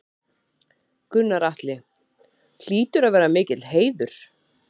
Gunnar Atli: Hlýtur að vera mikill heiður?